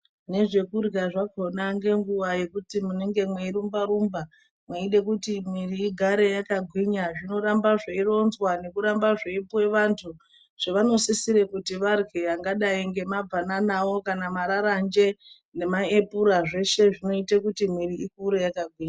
Nezvekurya nenguwa yekuti munenge mweirumba rumba mweide kuti mwiri igare yakagwinya zvinoramba zveironzwa nekuramba zveipuwa vantu zvavanosisira kuti varye angadai ngemabananawo kana mararanje nemaepura zveshe zvinoite kuti mwiri ikure yakagwinya.